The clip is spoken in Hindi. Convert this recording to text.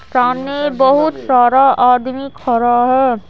सामने बहुत सारा आदमी खड़ा है।